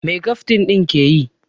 Mai kaftin ɗin ke yi?